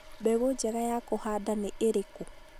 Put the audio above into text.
mbegũ njega ya kũhanda nĩ ĩrĩkũ ?